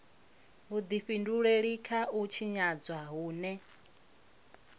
vhudifhinduleli kha u tshinyadzwa hune